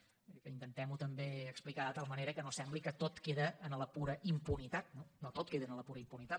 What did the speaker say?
vull dir que intentem ho també explicar de tal manera que no sembli que tot queda en la pura impunitat no no tot queda en la pura impunitat